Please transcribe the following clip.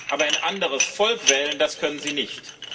Aber ein anderes Volk wählen können Sie nicht.